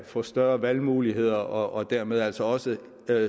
få større valgmuligheder og dermed altså også